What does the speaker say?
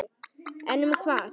En um hvað?